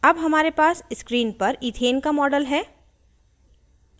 अब हमारे पास screen पर इथेन का model है